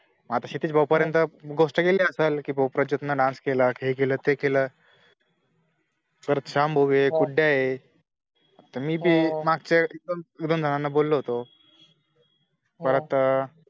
आता क्षितिज भाऊ पर्यंत गोष्ट गेली असलं कि भाऊ प्रजोत ने नास केला, हे केलं ते केलं परत शाम भाऊ ए कुड्या ए त मीबी माकच्या वेळीपण siranna बोललो होतो परत त